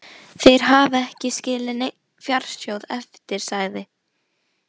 Þeir hafi ekki skilið neinn fjársjóð eftir, sagði